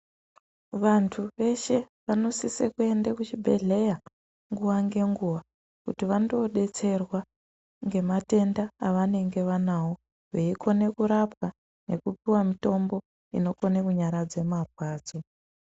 Vantu veshe vanosise kuende kuchibhedhleya nguva ngenguva kuti vandodetserwa ngematenda avanenge vanawo. Veikone kurapwa nekupuwa mutombo inonyaradze marwadzo.